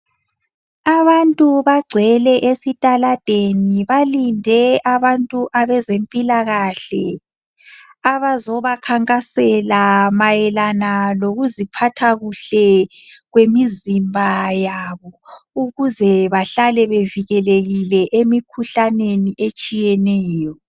Abantu bagcwele esitaladeni balinde abantu abezempilakahle abazoba khankasela mayelana lokuziphathakuhle kwemizimba yabo ukuze behlale bevikelekile emikhuhlaneni etshiyeneyo